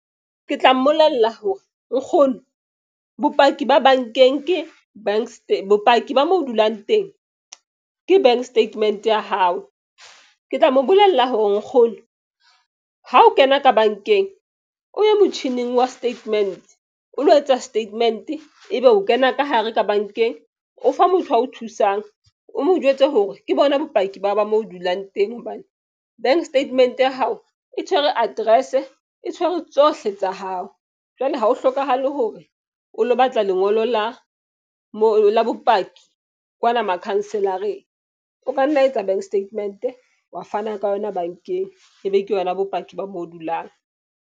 Ke tla mmolella hore nkgono bopaki ba bank-eng ke bopaki ba mo dulang teng ke bank statement-e ya hao. Ke tla mo bolella hore nkgono ha o kena ka bank-eng o ye motjhining wa statement, o lo etsa statement-e. Ebe o kena ka hare ka bank-eng, o fa motho ao thusang o mo jwetse hore ke bona bopaki ba mo o dulang teng. Hobane bank statement ya hao e tshwere address-e e tshwere tsohle tsa hao. Jwale ha ho hlokahale hore o lo batla lengolo la mo la bopaki kwana makhanselareng. O ka nna etsa bank statement-e wa fana ka yona bank-eng, ebe ke yona bopaki ba mo dulang.